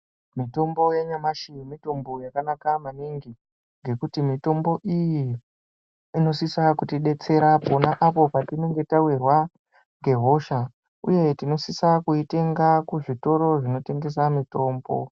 Mitombo yanyamashi mitombo yakanaka maningi ngekuti mitombo iyi inosisa kutidetsera pona apo patinenge tawirwa ngehosha uye tinosise kuitenga kuzvitoro zvinotengese mitombo.